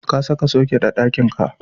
Ka saka soket a ɗakinka.